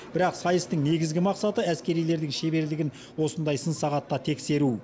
бірақ сайыстың негізгі мақсаты әскерилердің шеберлігін осындай сын сағатта тексеру